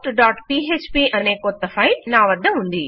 postపీఎచ్పీ అనే కొత్త ఫైల్ నా వద్ద ఉంది